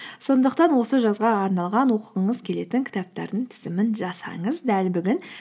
сондықтан осы жазға арналған оқығыңыз келетін кітаптардың тізімін жасаңыз дәл бүгін